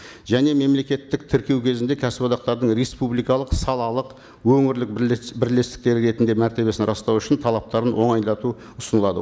және мемлекеттік тіркеу кезінде кәсіподақтардың республикалық салалық өңірлік бірлестіктері ретінде мәртебесін растау үшін талаптарын оңайлату ұсынылады